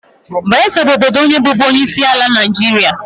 Bayesa bụ obodo onye bụbu onyeisiala Naijiria.